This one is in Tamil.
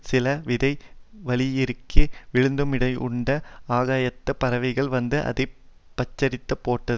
சில விதை வழியருகே விழுந்துமிதியுண்டது ஆகாயத்துப் பறவைகள் வந்து அதை பட்சித்துப்போட்டது